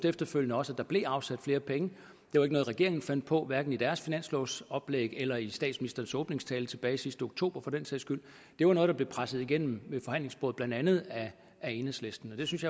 efterfølgende rost at der blev afsat flere penge det var ikke noget regeringen fandt på hverken i deres finanslovsoplæg eller i statsministerens åbningstale tilbage sidste oktober for den sags skyld det var noget der blev presset igennem ved forhandlingsbordet blandt andet af enhedslisten og det synes